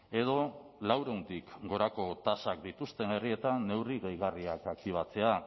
edo laurehuntik gorako tasak dituzten herrietan neurri gehigarriak aktibatzea